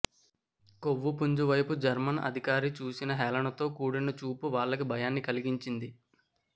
కొవ్వుపుంజి వైపు జర్మను అధికారి చూసిన హేళనతో కూడిన చూపు వాళ్ళకి భయాన్ని కలిగించింది